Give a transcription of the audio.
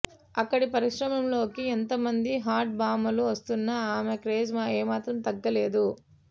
అక్కడి పరిశ్రమలోకి ఎంతమంది హాట్ భామలు వస్తున్న ఆమె క్రేజ్ ఏమాత్రం తగ్గలేదు